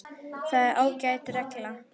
Það er ágæt regla.